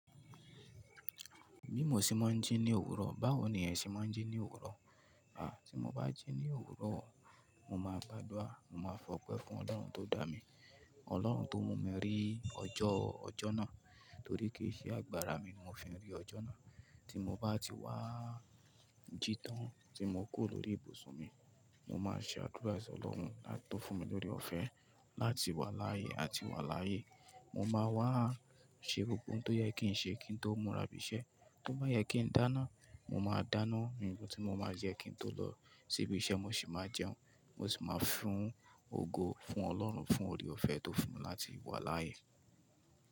Bí mo ṣe máa ń jí ní òwúrọ̀, báwo ni ẹ ṣe máa ń jí ní òwúrọ̀? À tí mo bá jí ní òwúrọ̀, mo ma gbàdúrà, mo ma fọpẹ́ fún Ọlọ́run tó dá mi, Ọlọ́run tó mú mi rí ọjọ́, ọjọ́ náà torí kì í ṣe agbára mi ni mo fi rí ọjọ́ náà. Tí mo bá ti wá jítán, tí mo kúrò lórí ibùsùn mi, mo máa ṣàdúrà sí Ọlọ́run à tó fún mi lóre ọ̀fẹ́ láti wà láàyè àti wà láyé. Mo máa wá ṣe gbogbo ohun tó yẹ kí n ṣe kí n tó múra b'iṣẹ́. Tó bá yẹ kí n dáná, mo máa dáná ǹkan tí mo máa jẹ kí n tó lọ sí ibi iṣẹ́, mo sì máa jẹun. Mo sì máa fún ògo fún Ọlọ́run fún oore ọ̀fẹ́ tó fún mi láti wà láàyè.